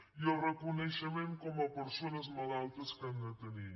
i el reconeixement com a persones malaltes que han de tenir